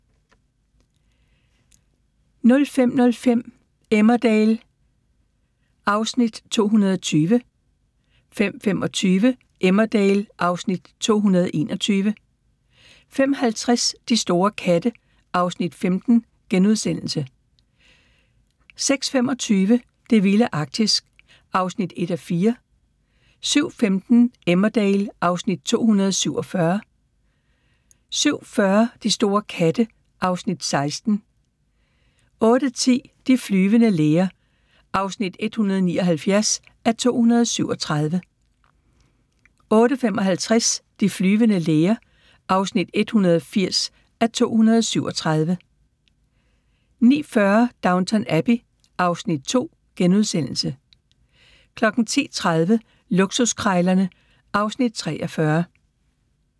05:05: Emmerdale (Afs. 220) 05:25: Emmerdale (Afs. 221) 05:50: De store katte (Afs. 15)* 06:25: Det vilde Arktis (1:4) 07:15: Emmerdale (Afs. 247) 07:40: De store katte (Afs. 16) 08:10: De flyvende læger (179:237) 08:55: De flyvende læger (180:237) 09:40: Downton Abbey (Afs. 2)* 10:30: Luksuskrejlerne (Afs. 43)